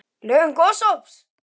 LÖGUN GOSOPS